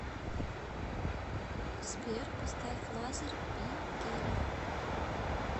сбер поставь лазер би гелия